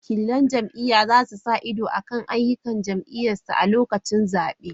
Wakilan jam’iyya za su sa ido kan ayyukan jam’iyyarsu a lokacin zabe.